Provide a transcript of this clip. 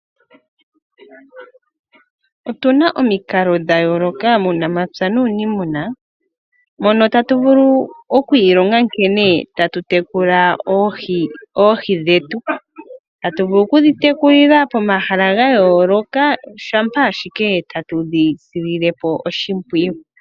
Otu na omikalo dha yooloka muunamapya nuuniimuna mono tatu vulu oku ilonga nkene tatu tekula oohi dhetu. Tatu vulu okudhi tekulila pomahala ga yooloka, shampa ashike tatu dhi silile po oshimpwiyu.